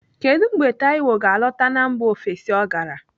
Kedụ mgbe Taiwo ga-alọta na mba ofesi ọ gara?